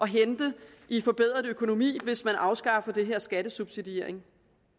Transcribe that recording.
hente i forbedret økonomi hvis man afskaffer den her skattesubsidiering